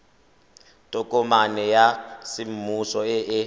tokomane ya semmuso e e